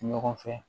Ɲɔgɔn fɛ